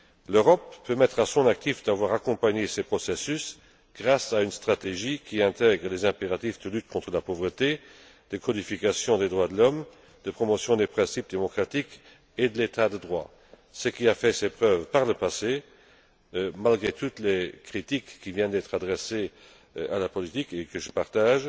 L'Europe peut mettre à son actif d'avoir accompagné ces processus grâce à une stratégie qui intègre les impératifs de lutte contre la pauvreté, de codification des droits de l'homme, de promotion des principes démocratiques et de l'état de droit. Malgré toutes les critiques qui viennent d'être adressées à la politique et que